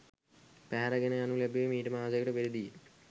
පැහැර ගෙන යනු ලැබුවේ මීට මාසයකට පෙරදීයි